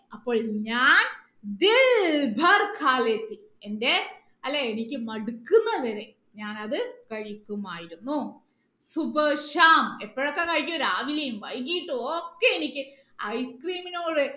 അപ്പോൾ ഞാൻ എന്റെ അല്ല എനിക്ക് മടുക്കുന്നത് വരെ ഞാൻ അത് കഴിക്കുമായിരുന്നു എപ്പോഴൊക്കെ കഴിക്കും രാവിലെയും വൈകീട്ടും ഒക്കെ എനിക്ക് ice cream നോട്